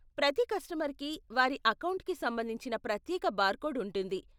ప్రతి కస్టమర్కి వారి అకౌంట్కి సంబంధించిన ప్రత్యేక బార్కోడ్ ఉంటుంది.